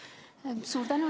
Suur tänu!